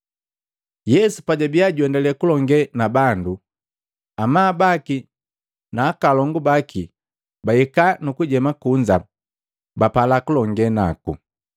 Yesu pajabiya juendalee kulongee na bandu, amabu baki na akalongu baki bahika nukujema kunza, bapala kulongee naku.